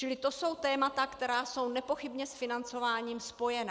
Čili to jsou témata, která jsou nepochybně s financováním spojená.